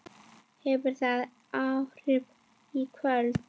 Hefur það áhrif í kvöld?